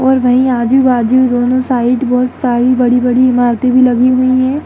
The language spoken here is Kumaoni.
और वहीं आजू-बाजू दोनों साइड बहोत सारी बड़ी-बड़ी इमारतें भी लगी हुई हैं।